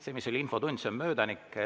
See, mis oli infotunnis, on möödanik.